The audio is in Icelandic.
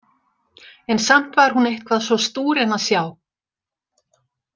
En samt var hún eitthvað svo stúrin að sjá.